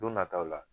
Don nataw la